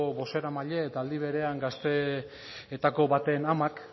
bozeramaile eta aldi berean gazteeetako baten amak